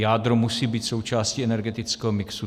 Jádro musí být součástí energetického mixu.